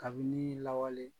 Kabini lawale